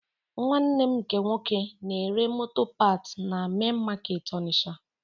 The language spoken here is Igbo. Nwanne nna m nke nwoke na-ere moto paat na mein makeetị Onitsha